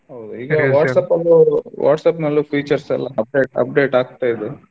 ಹೌದು ಈಗಾ WhatsApp ಅಲ್ಲು WhatsApp ನಲ್ಲು features ಎಲ್ಲಾ update update ಆಗ್ತಾ ಇದೆ.